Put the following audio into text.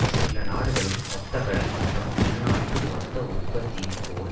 சில நாடுகளில் மொத்தக்கடன் மட்டம் உள்நாட்டு மொத்த உற்பத்தியைப்போல்